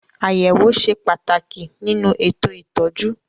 Àyẹ̀wò ṣe pàtàkì nínú ètò ìtọ́jú.